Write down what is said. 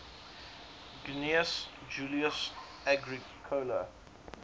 gnaeus julius agricola